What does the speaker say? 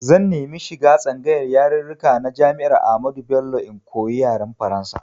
Zan nemi shiga tsangayar yarirrika na Jami'ar Ahmadu Bello in koyi yaren Faransa.